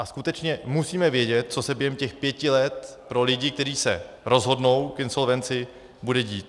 A skutečně musíme vědět, co se během těch pěti let pro lidi, kteří se rozhodnou k insolvenci, bude dít.